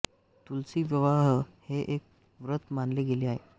तुलसी विवाह हे एक व्रत मानले गेले आहे